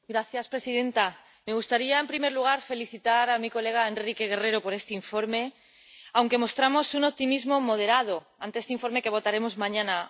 Señora presidenta, me gustaría, en primer lugar, felicitar a mi colega Enrique Guerrero por este informe, aunque mostramos un optimismo moderado ante este informe que votaremos mañana.